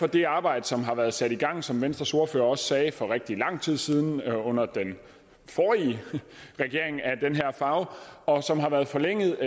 det arbejde som har været sat i gang som venstres ordfører også sagde for rigtig lang tid siden under den forrige regering af den her farve og som har været forlænget